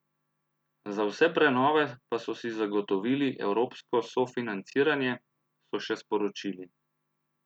Za vse prenove pa so zagotovili evropsko sofinanciranje, so še sporočili.